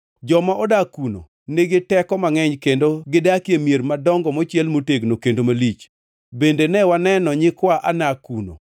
Joma odak kuno nigi teko mangʼeny, kendo gidakie mier madongo mochiel motegno kendo malich. Bende ne waneno nyikwa Anak kuno.